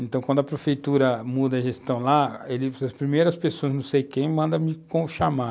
Então, quando a prefeitura muda a gestão lá, ele, as primeiras pessoas, não sei quem, mandam me chamar.